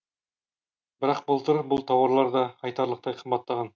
бірақ былтыр бұл тауарлар да айтарлықтай қымбаттаған